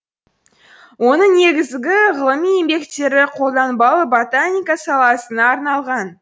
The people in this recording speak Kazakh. оның негізігі ғылыми еңбектері қолданбалы ботаника саласына арналған